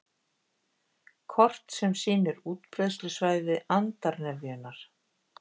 Kort sem sýnir útbreiðslusvæði andarnefjunnar